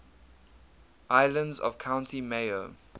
islands of county mayo